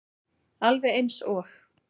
Alveg eins og